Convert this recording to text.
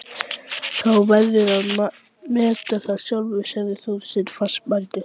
Þú verður að meta það sjálfur sagði Þorsteinn fastmæltur.